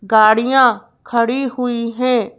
गाड़ियां खड़ी हुई हैं।